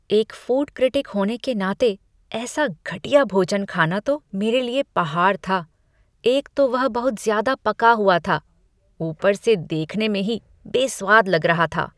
एक food critic होने के नाते ऐसा घटिया भोजन खाना तो मेरे लिए पहाड़ था। एक तो वह बहुत ज़्यादा पका हुआ था, ऊपर से देखने में ही बेस्वाद लग रहा था।